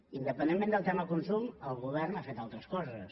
independentment del tema de consum el govern ha fet altres coses